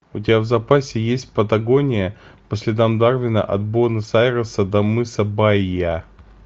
у тебя в запасе есть патагония по следам дарвина от буэнос айреса до мыса баия